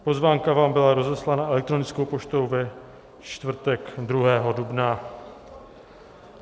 Pozvánka vám byla rozeslána elektronickou poštou ve čtvrtek 2. dubna.